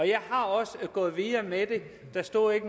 jeg er også gået videre med det der stod ikke